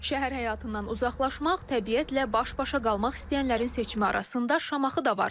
Şəhər həyatından uzaqlaşmaq, təbiətlə baş-başa qalmaq istəyənlərin seçimi arasında Şamaxı da var.